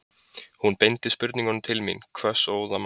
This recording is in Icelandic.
Hún beindi spurningunum til mín, hvöss og óðamála.